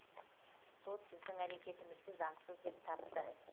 сот біздің әрекетімізді заңсыз деп тапты